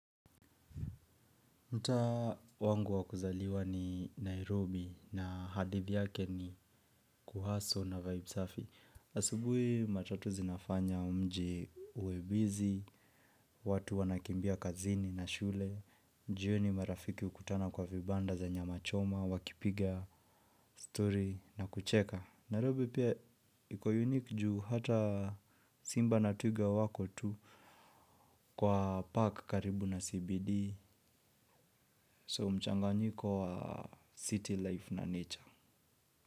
Mtaa wangu wakuzaliwa ni Nairobi na hadithi yake ni kuhaso na Vibe safi. Asubui matatu zinafanya umji uwe bizi, watu wanakimbia kazini na shule, jioni marafiki ukutana kwa vibanda za nyama choma, wakipiga, story na kucheka. Nairobi pia iko unique juu hata Simba na Twiga wako tu kwa park karibu na CBD. So mchanganyiko wa city life na nature.